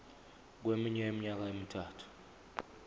kweminye iminyaka emithathu